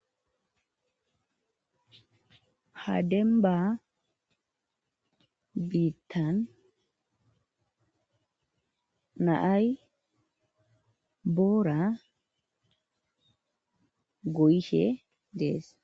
hademba biittan naay boora goyshe dees